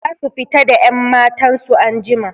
Zasu fita da 'yammatan su anjima.